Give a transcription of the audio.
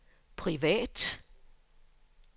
privat